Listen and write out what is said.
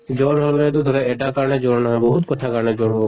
জ্বৰ হʼলে টো ধৰা এটা কাৰনে জ্বৰ নহয়, বহুত কথাৰ কাৰণে জ্বৰ হʼব